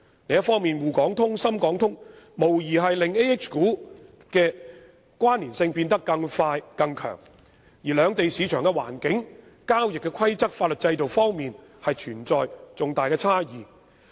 另一方面，滬港通、深港通無疑會令 AH 股的關連性變得更快更強，而兩地市場的環境、交易規則、法律制度等方面均存在重大差異。